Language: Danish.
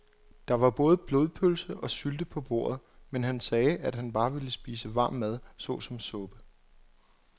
Der var både blodpølse og sylte på bordet, men han sagde, at han bare ville spise varm mad såsom suppe.